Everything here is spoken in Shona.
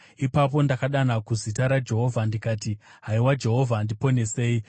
Ipapo ndakadana kuzita raJehovha ndikati, “Haiwa Jehovha, ndiponesei!”